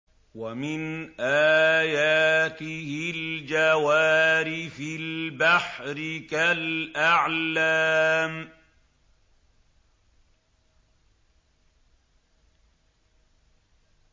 وَمِنْ آيَاتِهِ الْجَوَارِ فِي الْبَحْرِ كَالْأَعْلَامِ